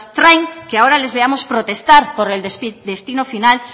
traen que ahora les veamos protestar por el destino final